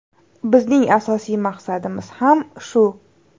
Bizning asosiy maqsadimiz ham shu.